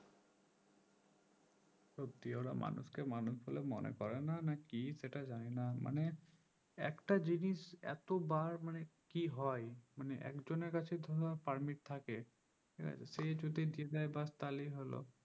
সত্যি ওরা মানুষকে মানুষ বলে মনে করেন না কি সেটা জানিনা মানে একটা জিনিস এতবার মানে কি হয় মানে একজনের কাছে ধরো permit থাকে এবার সে যদি দিয়ে দেয় বাস তাহলে হলো